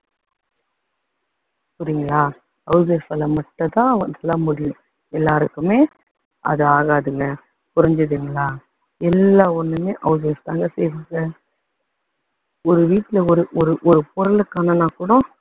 புரியுதுங்களா house wife ஆல மட்டும் தான் அதெல்லாம் முடியும், எல்லாருக்குமே அது ஆகாதுங்க. புரிஞ்சுதுங்களா. எல்லா ஒண்ணுமே house wife தாங்க செய்வாங்க. ஒரு வீட்டுல ஒரு ஒரு ஒரு பொருளை காணும்னா கூட